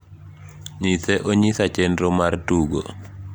nyise onyisa chenro mar tugo